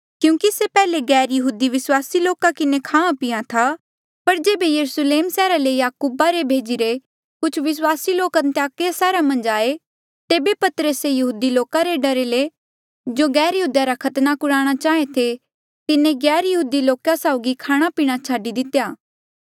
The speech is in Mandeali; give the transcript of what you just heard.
क्यूंकि से पैहले गैरयहूदी विस्वासी लोका साउगी खाहां पिहां था पर जेबे यरुस्लेम सैहरा ले याकूबा रे भेजीरे कुछ विस्वासी लोक अन्ताकिया सैहरा मन्झ आये तेबे पतरसे यहूदी लोका रे डरा ले जो गैरयहूदिया रा खतना कुराणा चाहें थे तिन्हें गैरयहूदी लोका साउगी खाणापीणा छाडी दितेया